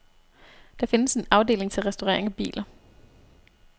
Der findes en afdeling til restaurering af biler.